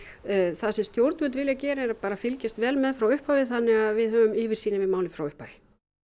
það sem stjórnvöld vilja gera er að fylgjast vel með frá upphafi þannig að við höfum yfirsýn yfir málið frá upphafi